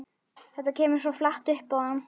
Þetta kemur svo flatt upp á hann.